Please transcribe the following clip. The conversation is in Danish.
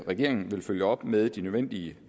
regeringen vil følge op med de nødvendige